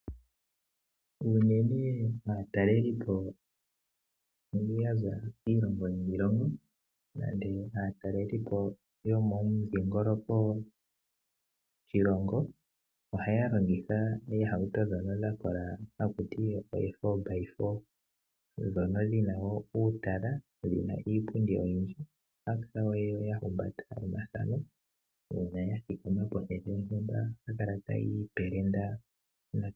Unene aatalelipo mbono yaza kiilongo niilongo nande aatalelipo yo momudhingoloko gwoshilongo ohaya longitha oohauto dhono dhakola hakuti ee fobaifo dhono dhina wo uutala , dhina iipundi oyindji. Ohaya kala wo ya humbata omathano uuna ya thikama pehala lyontumba ohaya kala ta yiipelenda.